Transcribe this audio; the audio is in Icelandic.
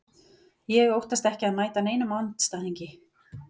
Ég óttast ekki að mæta neinum andstæðingi.